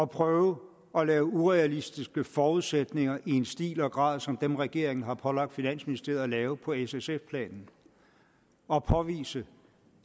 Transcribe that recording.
prøve at lave urealistiske forudsætninger i en stil og grad som dem regeringen har pålagt finansministeriet at lave på s sf planen at påvise